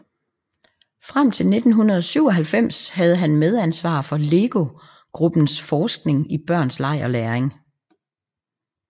Frem til 1997 havde han medansvar for LEGO Gruppens forskning i børns leg og læring